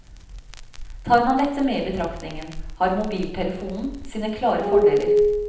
Tar man dette med i betraktningen har mobiltelefonen sine klare fordeler.